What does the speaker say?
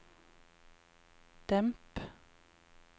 demp